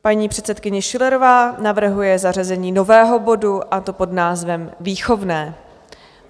Paní předsedkyně Schillerová navrhuje zařazení nového bodu, a to pod názvem Výchovné.